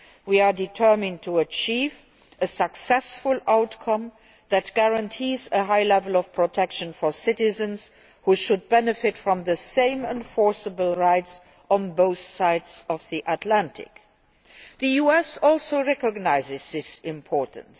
We are determined to achieve a successful outcome that guarantees a high level of protection for citizens, who should benefit from the same enforceable rights on both sides of the Atlantic. The US also recognises its importance.